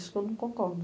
Isso que eu não concordo.